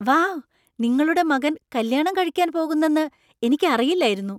Wow! നിങ്ങളുടെ മകൻ കല്യാണം കഴിക്കാൻ പോകുന്നെന്ന് എനിക്കറിയില്ലായിരുന്നു!